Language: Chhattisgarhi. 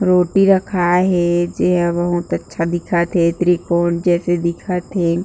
रोटी रखाए हे जेहा बहुत अच्छा दिखत हे त्रिकोण जइसे दिखत हे।